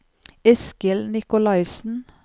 Eskil Nicolaysen